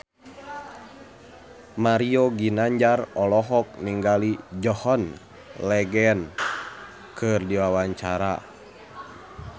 Mario Ginanjar olohok ningali John Legend keur diwawancara